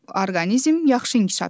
Orqanizm yaxşı inkişaf edir.